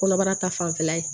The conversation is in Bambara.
Kɔnɔbara ta fanfɛla ye